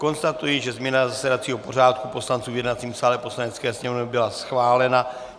Konstatuji, že změna zasedacího pořádku poslanců v jednacím sále Poslanecké sněmovny byla schválena.